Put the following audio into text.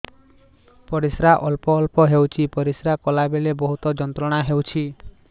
ପରିଶ୍ରା ଅଳ୍ପ ଅଳ୍ପ ହେଉଛି ପରିଶ୍ରା କଲା ବେଳେ ବହୁତ ଯନ୍ତ୍ରଣା ହେଉଛି